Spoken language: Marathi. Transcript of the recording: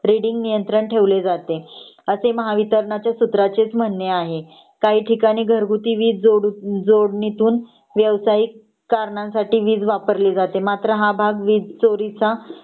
रीडिंग नियंत्रण ठेवले जाते असे महावित्रणाच्या सूत्राचेच म्हणणे आहे . काही ठिकाणी घर घरगुती वीज जोडणीतून व्यावसायिक करणं साठी वीज मात्र हा भाग वीज चोरीचा